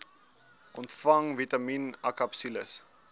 ontvang vitamien akapsules